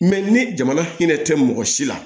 Mɛ ni jamana hinɛ tɛ mɔgɔ si la